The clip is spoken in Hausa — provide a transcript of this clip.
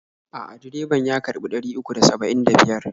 A'a, direban ya karɓi ɗari uku da saba'in da biyar.